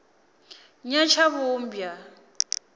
nyatshavhumbwa